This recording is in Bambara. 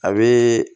A be